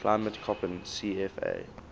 climate koppen cfa